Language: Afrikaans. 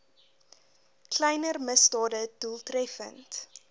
kleiner misdade doeltreffend